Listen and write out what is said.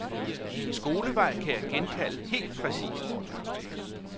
Min skolevej kan jeg genkalde helt præcist.